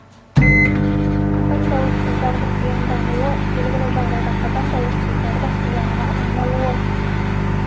қатаң дауыссыздардың ұяңдануы белгілі жағдайда қатаң дауыссыздардың ұяңға айналуы